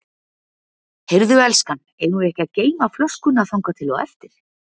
Heyrðu elskan, eigum við ekki að geyma flöskuna þangað til á eftir.